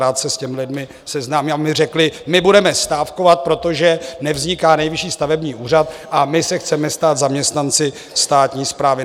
Rád se s těmi lidmi seznámím, aby mi řekli: My budeme stávkovat, protože nevzniká Nejvyšší stavební úřad a my se chceme stát zaměstnanci státní správy.